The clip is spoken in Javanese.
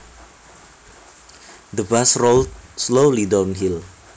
The bus rolled slowly downhill